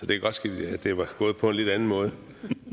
det godt ske at det var gået på en lidt anden måde